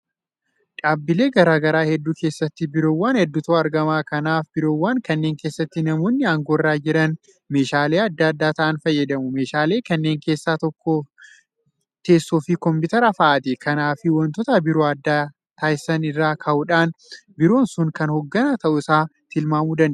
Dhaabbilee garaa garaa hedduu keessatti biiroowwan hedduutu argama. Kanaaf biiroowwan kanneen keessatti namoonni aangoo irra jiran meeshaalee adda ta'an fayyadamu. Meeshaalee kanneen keessaa tokko teessoofi Kompiitara fa'aati. Kanaafi waantota biroo adda taasisan irraa ka'uudhaan biiroon sun kan hoogganaa ta'uusaa tilmaamuu dandeenya.